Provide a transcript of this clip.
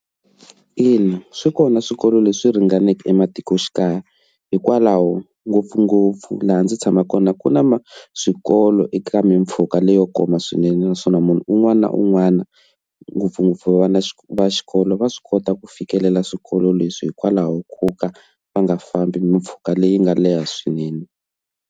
Ina swi kona swikolo leswi ringaneke ematikoxikaya hikwalaho ngopfungopfu laha ndzi tshamaka kona ku na swikolo eka mimpfhuka leyo kuma swinene naswona munhu un'wana na un'wana ngopfungopfu vana va xikolo va swi kota ku fikelela swikolo leswi hikwalaho ko ka va nga fambi mpfhuka leyi nga leha swinene.